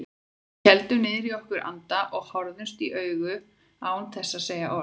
Við héldum niðri í okkur andanum og horfðumst í augu án þess að segja orð.